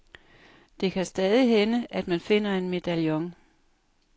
Det kan stadig hænde, at man finder en medaljon.